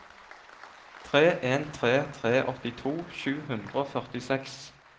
tre en tre tre åttito sju hundre og førtiseks